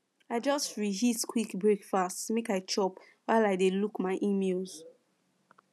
i just reheat quick breakfast make i chop while i dey look my emails